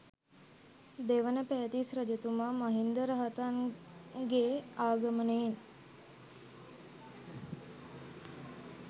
දෙවනපෑතිස්ස රජතුමා මහින්ද රහතන්ගේ ආගමනයෙන්.